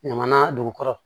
Ɲamaan dugu kɔrɔ